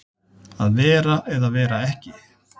Að vera eða vera ekki